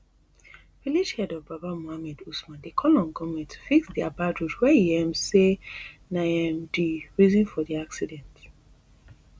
village head of babba muhammad usman dey call on goverment to fix dia bad road wey e um say na um di reason for di accident